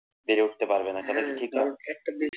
বেড়ে উঠতে পারবে না কেন কি